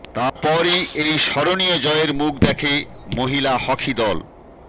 তারপরই এই স্মরণীয় জয়ের মুখ দেখে মহিলা হকি দল